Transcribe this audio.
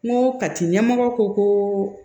N ko kati ɲɛmɔgɔ ko ko